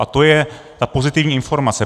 A to je ta pozitivní informace.